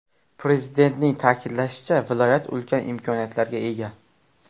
Prezidentning ta’kidlashicha, viloyat ulkan imkoniyatlarga ega.